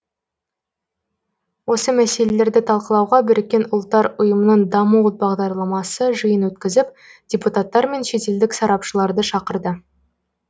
осы мәселелерді талқылауға біріккен ұлттар ұйымының даму бағдарламасы жиын өткізіп депутаттар мен шетелдік сарапшыларды шақырды